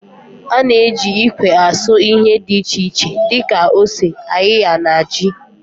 Ana eji ikwe asụ ihe di iche iche di ka ose, ayịya na ji.